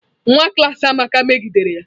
Nwa klas Amaka megidere ya.